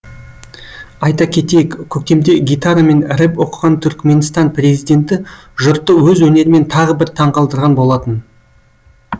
айта кетейік көктемде гитарамен рэп оқыған түркіменстан президенті жұртты өз өнерімен тағы бір таңғалдырған болатын